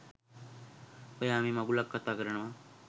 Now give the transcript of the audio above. ඔයා මේ මගුලක් කතා කරනවා.